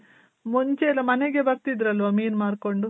ಮುಂಚೆ ಎಲ್ಲ ಮನೆಗೆ ಬರ್ತಿದ್ರಲ್ವ ಮೀನ್ ಮಾರ್ಕೊಂಡು.